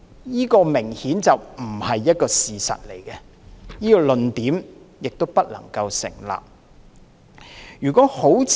這明顯不是事實，這個論點亦不能夠成立。